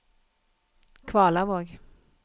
Kvalavåg